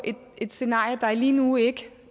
et scenarie der lige nu ikke